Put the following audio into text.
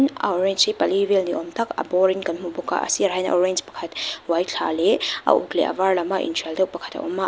a orange hi pali vel ni âwm tak a bawrin kan hmu bawk a a sirah hian a orange pakhat uai thla leh a uk leh a var lam deuh pakhat a awm a.